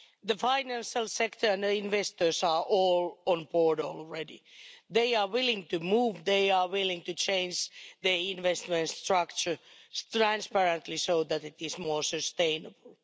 Mr President, the financial sector and investors are all on board already. They are willing to move, and they are willing to change the investment structure transparently so that it is more sustainable.